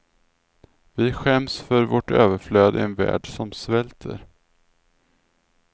Vi skäms för vårt överflöd i en värld som svälter.